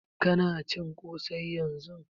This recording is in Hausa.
Ka na cin ƙosai yanzun?